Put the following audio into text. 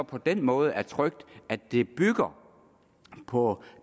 på den måde er trygt at det bygger på